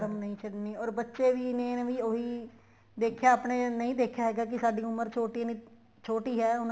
ਧਰਮ ਨਹੀਂ ਛੱਡਣੀ or ਬੱਚੇ ਵੀ ਨੇ ਉਹੀ ਦੇਖਿਆ ਆਪਣੇ ਨਹੀਂ ਦੇਖਿਆ ਹੈਗਾ ਕੀ ਸਾਡੀ ਉਮਰ ਛੋਟੀ ਨਹੀਂ ਛੋਟੀ ਹੈ ਉਹਨਾ